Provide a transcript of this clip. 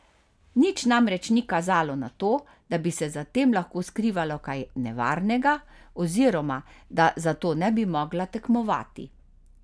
Nič namreč ni kazalo na to, da bi se za tem lahko skrivalo kaj nevarnega oziroma da zato ne bi mogla tekmovati.